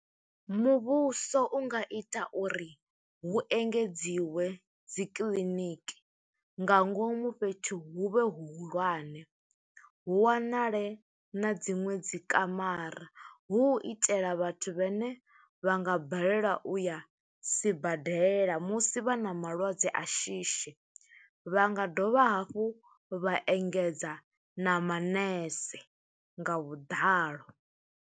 Muvhuso u nga ita uri, hu engedziwe dzi kiḽiniki nga ngomu fhethu hu vhe hu hulwane. Hu wanale na dziṅwe dzi kamara, hu u itela vhathu vhene vha nga balelwa u ya sibadela, musi vha na malwadze a shishi, vha nga dovha hafhu vha engedza na manese nga vhuḓalo.